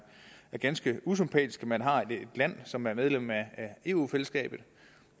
ganske usympatisk at man har et land som er medlem af eu fællesskabet